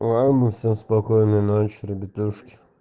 ладно все спокойной ночи ребятушки